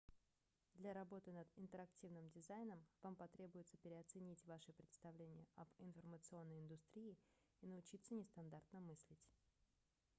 для работы над интерактивным дизайном вам потребуется переоценить ваши представления об информационной индустрии и научиться нестандартно мыслить